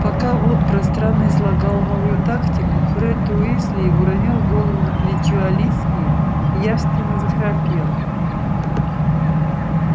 пока вуд пространно излагал новую тактику фред уизли уронил голову на плечо алисии и явственно захрапел